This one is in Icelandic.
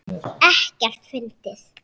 Ekkert fyndið!